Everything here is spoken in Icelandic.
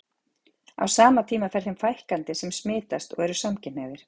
Á sama tíma fer þeim fækkandi sem smitast og eru samkynhneigðir.